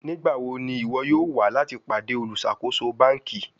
Nigbawo ni iwọ yoo wa lati pade oluṣakoso banki?